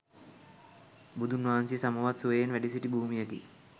බුදුන් වහන්සේ සමවත් සුවයෙන් වැඩ සිටි භූමියකි.